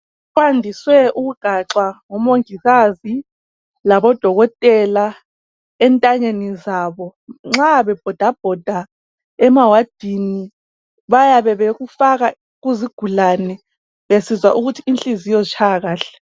Kwadiswe ukugaxwa ngomongikazi labo dokotela entanyeni zabo nxa bebhodabhoda emawadini bayabe bekufaka kuzigulani besizwa ukuthi inhliziyo zitshaya kahle